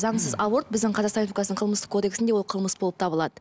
заңсыз аборт біздің қазақстан республикасының қылмыстық кодексінде ол қылмыс болып табылады